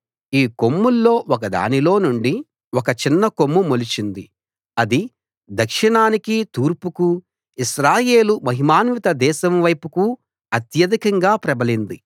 ఈ కొమ్ముల్లో ఒక దానిలో నుండి ఒక చిన్నకొమ్ము మొలిచింది అది దక్షిణానికి తూర్పుకు ఇశ్రాయేలు మహిమాన్విత దేశం వైపుకు అత్యధికంగా ప్రబలింది